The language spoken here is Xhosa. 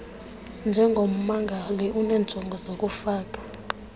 njengommangali unenjongo zokufaka